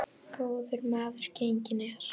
Góður maður genginn er.